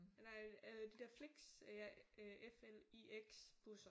Nej øh de der Flix F L I X busser